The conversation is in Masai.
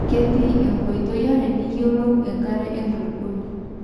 ketii inkoitoi are niyiolou enkare enkulupuoni